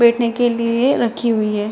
बैठने के लिए राखी हुई हैं।